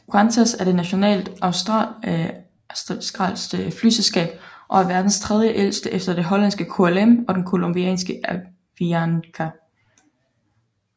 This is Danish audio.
Qantas er det nationale australske flyselskab og er verdens tredjeældste efter det hollandske KLM og det colombianske Avianca